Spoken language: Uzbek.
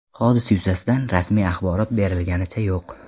Hodisa yuzasidan rasmiy axborot berilganicha yo‘q.